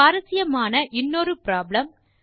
சுவாரசியமான இன்னொரு ப்ராப்ளம்